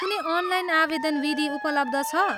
कुनै अनलाइन आवेदन विधि उपलब्ध छ?